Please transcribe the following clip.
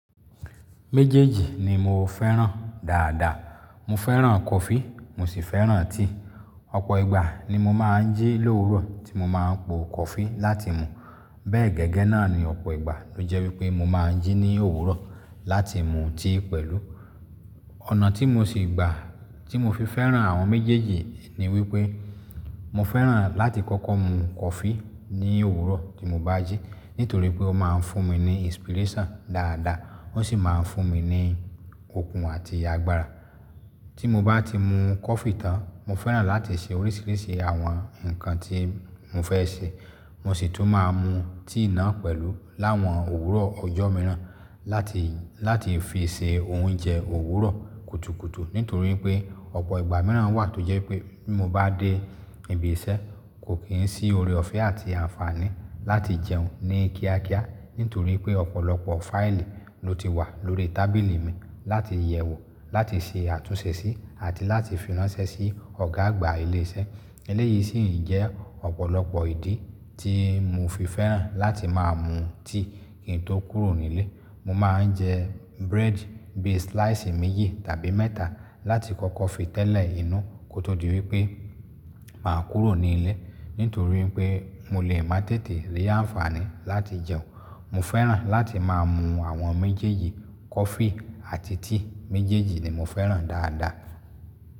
Méjèèjì ni mo fẹ́ràn dáadáa. Mo fẹ́ràn kọfí, mo sì fẹ́ràn tíì. Ọ̀pọ̀ ìgbà ni mo máa ń jí lòwúrọ̀ tí mo máa ń po kọfí láti mu. Bẹ́ẹ̀ gẹ́gẹ́ náà ni ọ̀pọ̀ ìgbà ló jẹ́ wípé mo máa ń jí ní òwúrọ̀ láti mu tíì pẹ̀lú. Ọ̀nà tí mo sì gbà tí mo fi fẹ́ràn àwọn méjèèjì ni wípé mo fẹ́ràn láti kọ́kọ́ mu kọfí ní òwúrọ̀ tí mo bá jí nítorí pé ó máa ń fún mi ní inspiration dáadáa, ó sì máa ń fún mi ní okun àti agbára. Tí mo bá ti mu kọfí tán, mo fẹ́ràn láti ṣe oríṣiríṣi àwọn nǹkan tí mo fẹ́ ṣe. Mo sì tún máa mu tíì náà pẹ̀lú láwọn òwúrọ̀ ọjọ́ mìíràn láti, láti fi ṣe oúnjẹ òwúrọ̀ kùtùkùtù nítorí pé ọ̀pọ̀ ìgbà mìíràn wà tó jẹ́ wípé bí mo bá dé ibi iṣẹ́, kò kí ń sí ore ọ̀fẹ́ àti àǹfààní láti jẹun ní kíákíá nítorí pé ọ̀pọ̀lọpọ̀ fáìlì ló ti wà lórí tábìlì mi láti yẹ̀wò, láti ṣe àtúnṣe sí àti láti fi ránṣẹ́ sí Ọ̀gá àgbà ilé iṣẹ́. Eléyìí sì ń jẹ́ ọ̀pọ̀lọpọ̀ ìdí tí mo fi fẹ́ràn láti máa mu tíì kí n tó kúrò nílé. Mo máa ń jẹ búrẹ́dì bí i slice méjì tàbí mẹ́ta láti kọ́kọ́ fi tẹ́lẹ̀ inú kó tó di wípé màá kúrò ní ilé. Nítorí pé mo lè má tètè rí àǹfààní láti jẹun. Mo fẹ́ràn láti máa mu àwọn méjèèjì kọfí àti tíì, méjèèjì ni mo fẹ́ràn dáadáa.